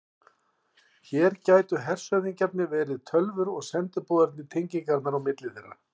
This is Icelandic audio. Hér gætu hershöfðingjarnir verið tölvur og sendiboðarnir tengingarnar á milli þeirra.